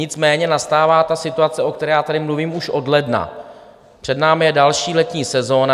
Nicméně nastává ta situace, o které já tady mluvím už od ledna, před námi je další letní sezona.